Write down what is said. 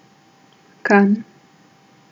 Kranj.